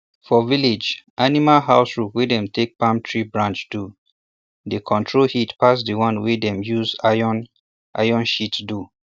for village animal house roof wey dem take palm tree branch do dey control heat pass di one wey dem use iron iron sheet do